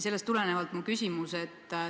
Sellest tulenevalt on mul küsimus.